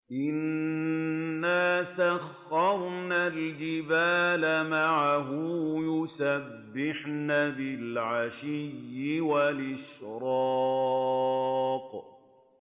إِنَّا سَخَّرْنَا الْجِبَالَ مَعَهُ يُسَبِّحْنَ بِالْعَشِيِّ وَالْإِشْرَاقِ